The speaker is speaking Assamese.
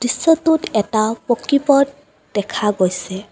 দৃশ্যটোত এটা পকী পথ দেখা গৈছে।